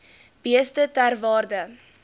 beeste ter waarde